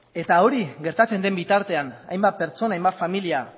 hori gertatzen den bitartean hainbat pertsona eta hainbat familia